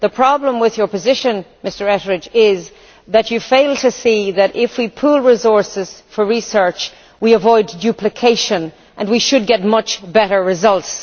The problem with your position, Mr Etheridge, is that you fail to see that if we pool resources for research, we avoid duplication, and we should get much better results.